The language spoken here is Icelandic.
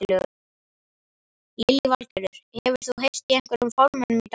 Lillý Valgerður: Hefur þú heyrt í einhverjum formönnum í dag?